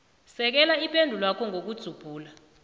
sekela ipendulwakho ngokudzubhula